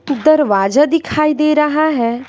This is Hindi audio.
दरवाजा दिखाई दे रहा है।